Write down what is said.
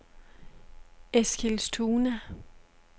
Eskilstuna